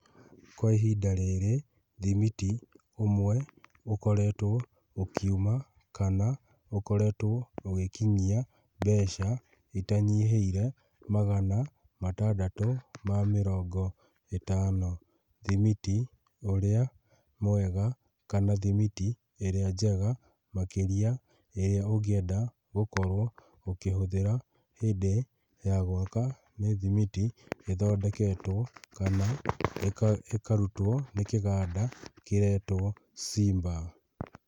Kwa ihinda rĩrĩ thimiti ũmwe ũkoretwo ũkiuma, kana ũkoretwo ũgĩkinyia mbeca itanyihĩire magana matandatũ ma mĩrongo ĩtano. Thimiti ũrĩa mwega kana thimiti ĩrĩa njega makĩria ĩrĩa ũngĩenda gũkorwo ũkĩhũthĩra hĩndĩ ya gwaka nĩ thimiti ĩthondeketwo kana ĩkarutwo nĩ kĩganda kĩretwo Simba.